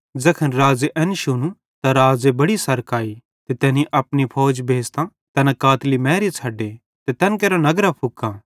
ज़ैखन राज़े एन शुनू त राज़े बड़ी सरक आई ते तैनी अपनी फौज भेज़तां तैना कातली मैरी छ़ड्डे ते तैन केरां नगरां फुके